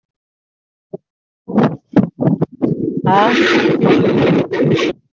હા.